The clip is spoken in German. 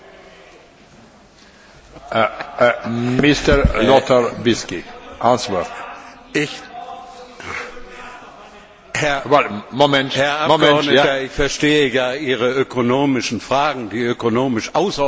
Herr Präsident! Herr Abgeordneter, ich verstehe ja Ihre ökonomischen Fragen, die ökonomisch außerordentlich tiefsinnig sind, und das respektiere ich. Dennoch glaube ich, hier geht es um das Verhältnis von Europäischem Parlament und seinen Rechten zum Haushalt.